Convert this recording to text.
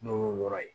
N'o y'o yɔrɔ ye